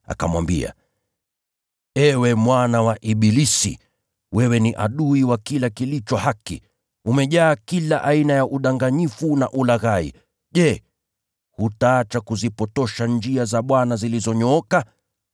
akamwambia, “Ewe mwana wa ibilisi, wewe ni adui wa kila kilicho haki! Umejaa kila aina ya udanganyifu na ulaghai. Je, hutaacha kuzipotosha njia za Bwana zilizonyooka?